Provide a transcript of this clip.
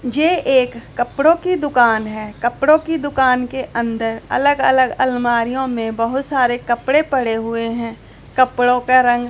ये एक कपड़ों की दुकान है कपड़ों की दुकान के अंदर अलग अलग अलमारीयों में बहुत सारे कपड़े पड़े हुए हैं कपड़ों का रंग--